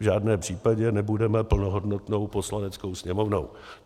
V žádném případě nebudeme plnohodnotnou Poslaneckou sněmovnou.